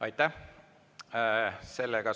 Aitäh!